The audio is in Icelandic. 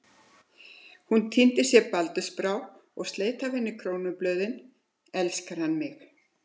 Hún tíndi sér baldursbrá og sleit af henni krónublöðin: elskar hann mig?